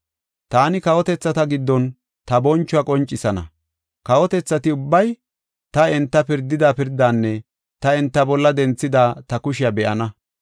“Taani kawotethata giddon ta bonchuwa qoncisana. Kawotethati ubbay ta enta pirdida pirdanne ta enta bolla denthida ta kushiya be7ana.